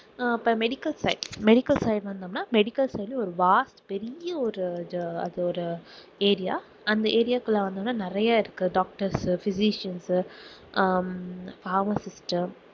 அஹ் இப்போ medical side medical side வந்தோம்னா medical வந்து ஒரு vast பெரிய ஒரு அது ஒரு area அந்த area குள்ள வந்தோம்னா நிறைய இருக்கு doctors உ physicians உ அஹ் pharmacist உ